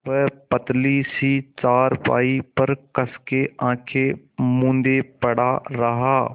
वह पतली सी चारपाई पर कस के आँखें मूँदे पड़ा रहा